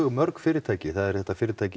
mörg fyrirtæki það er þetta fyrirtæki